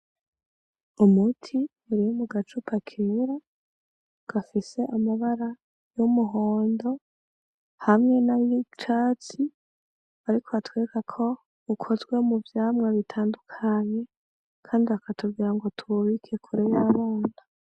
Umuti uri mugacupa kera ,gafise amabara y'umuhondo, hamwe nay'icatsi ,ariko batwereka ko wakozwe muvyamwa bitandukanye Kandi bakatubwira ngo tuwubike kure y'abana.